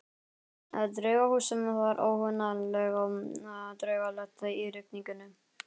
Draugahúsið var óhugnanlega draugalegt í rigningunni.